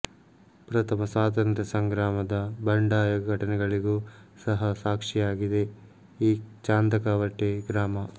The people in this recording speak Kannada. ಪ್ರಥಮ ಸ್ವಾತಂತ್ರ್ಯ ಸಂಗ್ರಾಮದ ಬಂಡಾಯ ಘಟನೆಗಳಿಗೂ ಸಹ ಸಾಕ್ಷಿಯಾಗಿದೆ ಈ ಚಾಂದಕವಟೆ ಗ್ರಾಮ